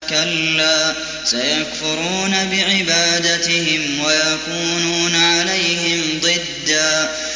كَلَّا ۚ سَيَكْفُرُونَ بِعِبَادَتِهِمْ وَيَكُونُونَ عَلَيْهِمْ ضِدًّا